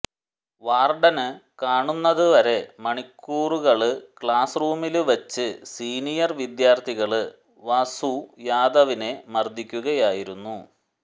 warden കാണുന്നത് വരെ മണിക്കൂറുകള് ക്ലാസ് റൂമില് വച്ച് സീനിയര് വിദ്യാര്ഥികള് വാസു യാദവിനെ മര്ദിക്കുകയായിരുന്നു